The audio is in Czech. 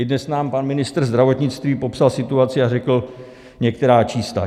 I dnes nám pan ministr zdravotnictví popsal situaci a řekl některá čísla.